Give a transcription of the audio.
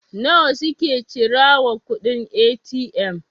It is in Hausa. nawa suke cira wa kuɗin A.T.M?